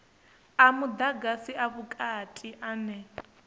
a mudagasi a vhukati ane